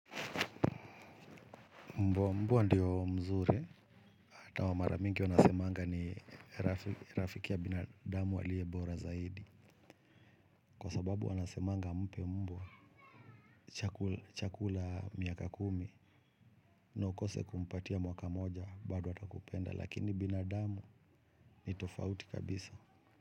Mbwa mbwa ndiyo mzuri, hata wa maramingi wanasemanga ni rafiki ya binadamu aliye bora zaidi. Kwa sababu wanasemanga mpe mbwa chakula miaka kumi na ukose kumpatia mwaka moja bado atakupenda, lakini binadamu ni tofauti kabisa.